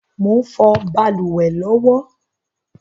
Mò ń fọ̀ balùwẹ̀ lọ́wọ́